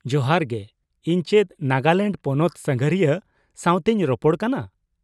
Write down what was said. ᱡᱚᱦᱟᱨ ᱜᱮ ! ᱤᱧ ᱪᱮᱫ ᱱᱟᱜᱟᱞᱮᱱᱰ ᱯᱚᱱᱚᱛ ᱥᱟᱸᱜᱷᱟᱨᱤᱭᱟᱹ ᱥᱟᱶᱛᱮᱧ ᱨᱚᱯᱚᱲ ᱠᱟᱱᱟ ᱾